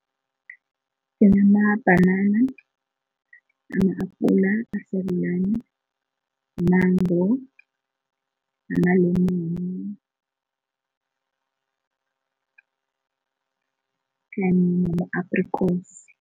Kunamabhanana, ama-apula asarulani, umango namalemoni nama-aprikosi.